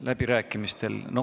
Läbirääkimistel.